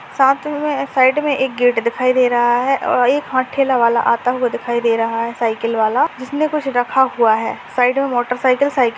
साथ मे साइड मे एक गेट दिखाए दे रहा है और एक ह ठेला वाला आता हुआ दिखाए दे रहा है साइकल वाला जिसमे कुछ रखा हुआ है साइड मे मोटरसाइकल साइकल --